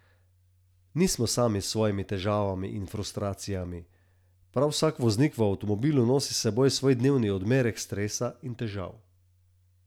Nismo sami s svojimi težavami in frustracijami, prav vsak voznik v avtomobilu nosi s seboj svoj dnevni odmerek stresa in težav.